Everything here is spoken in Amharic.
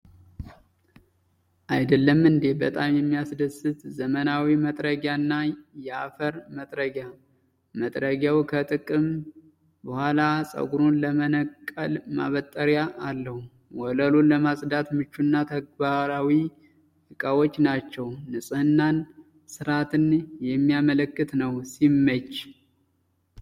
አይደለም እንዴ! በጣም የሚያስደስት ዘመናዊ መጥረጊያና የአፈር መጥረጊያ። መጥረጊያው ከጥቅም በኋላ ፀጉሩን ለመነቅል ማበጠሪያ አለው። ወለሉን ለማጽዳት ምቹና ተግባራዊ ዕቃዎች ናቸው። ንጽሕናንና ስርአትን የሚያመለክት ነው። ሲመች!